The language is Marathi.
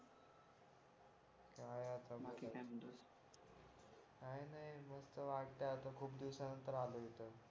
फक्त वाटतय आत्ता खूप दिवसानंतर आलो इथं